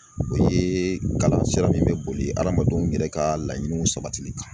O ye kalan sira min bɛ boli adamadenw yɛrɛ ka laɲiniw sabatili